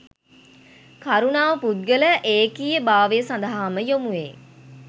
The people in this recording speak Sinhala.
කරුණාව පුද්ගල ඒකීය භාවය සඳහා ම යොමුවේ.